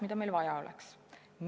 Mida meil vaja oleks?